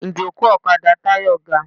Ìjókòó ọ̀kadà Táyọ̀ ga.